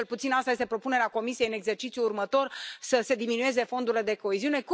Cel puțin asta este propunerea Comisiei în exercițiul următor, să se diminueze fondurile de coeziune.